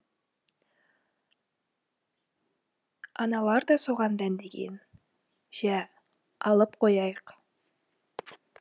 аналар да соған дәндеген жә алып қояйық